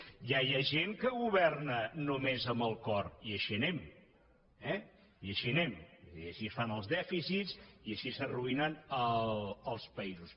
ja hi ha gent que governa només amb el cor i així anem eh i així anem i així es fan els dèficits i així s’arruïnen els països